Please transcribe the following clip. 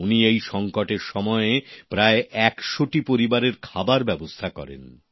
উনি এই সংকটের সময়ে প্রায় একশোটি পরিবারের খাবার ব্যাবস্থা করেন